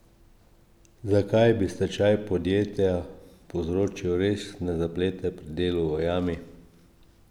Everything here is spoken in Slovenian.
Zakaj bi stečaj podjetja povzročil resne zaplete pri delu v jami?